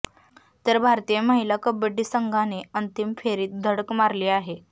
तर भारतीय महिला कबड्डी संघाने अंतिम फेरीत धडक मारली आहे